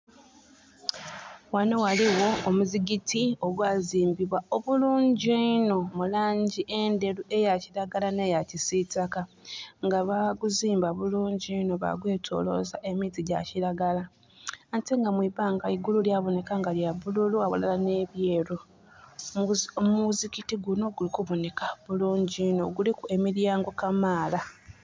Wano waliwo omuzikiti ogwazimbibwa bulungi inho mu langi enderu eya kiragala neya kisitaka nga baguzimba bulungi inho bagwetoloza emiti gya kiragala ate nga mwibbanga eigulu lyaboneka lya bululu awalala ne byeru. Omuzikiti guno guli kuboneka bulungi inho. Guliku emiryango kamala